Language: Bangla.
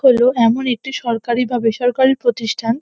হল এমন একটি সরকারি বা বেসরকারি প্রতিষ্ঠান